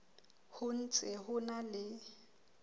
ho ntse ho na le